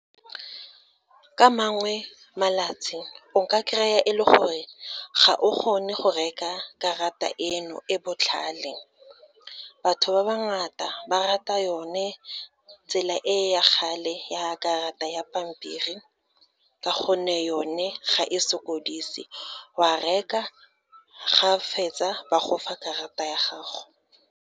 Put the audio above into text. Ka mangwe malatsi, o nka kry-a e le gore ga o kgone go reka karata eno e botlhale. Batho ba ba ngata ba rata yone tsela e ya kgale, ya karata ya pampiri, ka gonne yone ga e sokodise, wa reka ga o fetsa ba gofa karata ya gago.